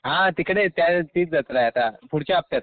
हा तिकडे त्या तीच जत्राये आता, पुढच्या हप्त्याते.